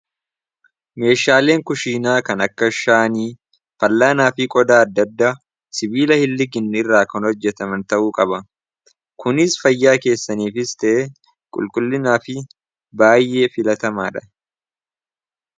meeshaaleen kushiinaa kan akka shaanii fallaanaa fi qodaa addadda sibiila hinliginne irraa kan hojjetaman ta'uu qaba kunis fayyaa keessaniif iste qulqullinaa fi baay'ee filatamaa dha